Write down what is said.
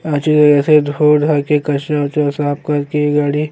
अजुए ऐसे धो धा के कचड़ा उचाडा साफ कर के गाड़ी --